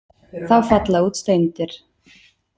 Þá falla út steindir.